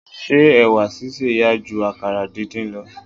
Ṣé ẹ̀wà sísè yá ju àkàrà díndín lọ.